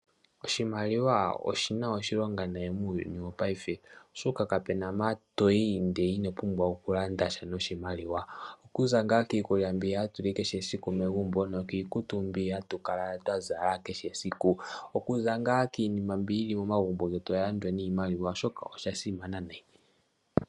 Oshimaliwa oshina oshilongo nati muuyuni wopayife oshoka kapena mpa toyi ndele ino pumbwa okulanda sha noshimaliwa. Okuza ngaa kiikulya mbi hatu li megumbo nokiikutu mbi hatu kala twa zala kehe esiku. Okuza ngaa kiinima mbi yili momagumbo getu oya landwa niimaliwa, osha simana nayi.